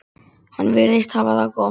Hann virðist hafa það gott.